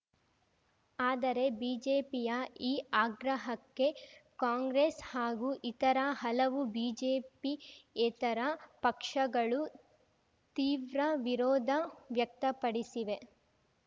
ಆದರೆ ಬಿಜೆಪಿಯ ಈ ಆಗ್ರಹಕ್ಕೆ ಕಾಂಗ್ರೆಸ್‌ ಹಾಗೂ ಇತರ ಹಲವು ಬಿಜೆಪಿಯೇತರ ಪಕ್ಷಗಳು ತೀವ್ರ ವಿರೋಧ ವ್ಯಕ್ತಪಡಿಸಿವೆ